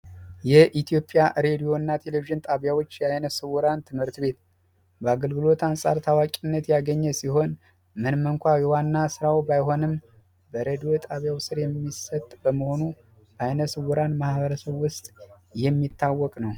የኢትዮጵያ ቴሌቪዥን ሬዲዮ ጣቢያዎች የዓይነ ስውራን ትምህርት ቤት በአገልግሎት አንጻር ታዋቂነት ያግኘ ሲሆን ምንም እንኳ ዋና ስራው ባይሆንም በሬድዮ ጣቢያው ስር የሚሰጥ በመሆኑ ለዓይነ ስውራን ማበረሰብ ውስጥ የሚታወቅ ነው።